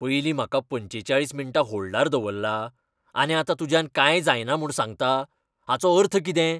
पयलीं म्हाका पंचेचाळीस मिण्टां होल्डार दवल्ला, आनी आतां तुज्यान कांय जायना म्हूण सांगता, हाचो अर्थ कितें?